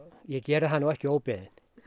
ég geri það nú ekki óbeðinn